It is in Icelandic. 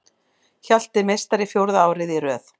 Hjalti meistari fjórða árið í röð